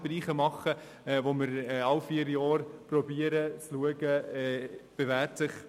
Wir verfahren in anderen Bereichen ähnlich.